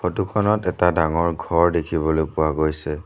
Photo খনত এটা ডাঙৰ ঘৰ দেখিবলৈ পোৱা গৈছে।